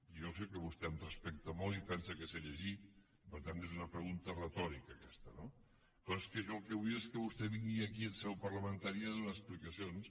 jo sé que vostè em respecta molt i pensa que sé llegir per tant és una pregunta retòrica aquesta no però és que jo el que vull és que vostè vingui aquí en seu parlamentària a donar explicacions